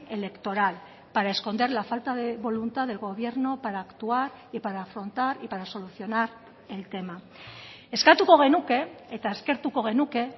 electoral para esconder la falta de voluntad del gobierno para actuar y para afrontar y para solucionar el tema eskatuko genuke eta eskertuko genuke